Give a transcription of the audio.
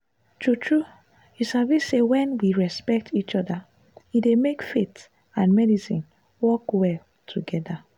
true true you sabi say when we respect each other e dey make faith and medicine work well together.